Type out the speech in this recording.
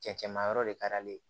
Cɛncɛnmayɔrɔ de ka di ale ye